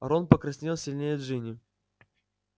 рон покраснел сильнее джинни